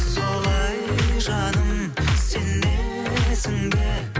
солай жаным сенесің бе